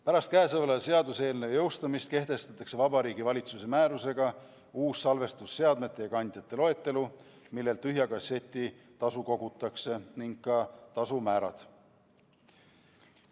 Pärast kõnesoleva seaduseelnõu jõustumist kehtestatakse Vabariigi Valitsuse määrusega uus salvestusseadmete ja ‑kandjate loetelu, millelt tühja kasseti tasu kogutakse, samuti tasumäärad.